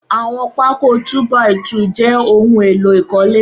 Awọn pàkó tù bàí tù jè óhùn éló ikọ̀lé